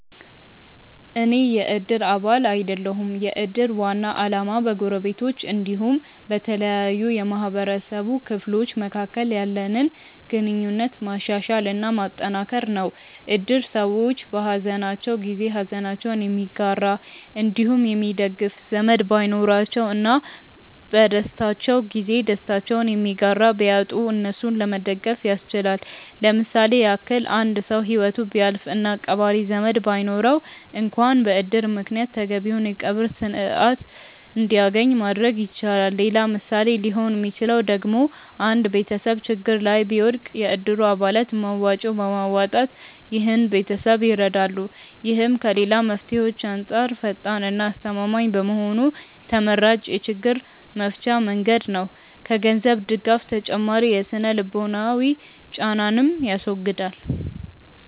አኔ የ እድር አባል አይደለሁም። የ እድር ዋና አላማ በ ጎረቤቶች አንዲሁም በተለያዩ የ ማህበረሰቡ ክፍሎች መካከል ያለንን ግንኙነት ማሻሻል እና ማጠንከር ነው። እድር ሰዎች በ ሃዘናቸው ጊዜ ሃዘናቸውን የሚጋራ አንዲሁም የሚደግፍ ዘመድ ባይኖራቸው እና በ ደስታቸው ጊዜ ደስታቸውን የሚጋራ ቢያጡ እነሱን ለመደገፍ ያስችላል። ለምሳሌ ያክል አንድ ሰው ሂወቱ ቢያልፍ እና ቀባሪ ዘመድ ባይኖረው አንክዋን በ እድር ምክንያት ተገቢውን የ ቀብር ስርዓት አንድያገኝ ማድረግ ይቻላል። ሌላ ምሳሌ ሊሆን ሚችለው ደግሞ አንድ ቤተሰብ ችግር ላይ ቢወድቅ የ እድሩ አባላት መዋጮ በማዋጣት ይህን ቤተሰብ ይረዳሉ። ይህም ከ ሌላ መፍትሄዎች አንጻር ፈጣን እና አስተማማኝ በመሆኑ ተመራጭ የ ችግር መፍቻ መንገድ ነው። ከ ገንዘብ ድጋፍ ተጨማሪ የ ስነ-ልቦናዊ ጫናንንም ያስወግዳል።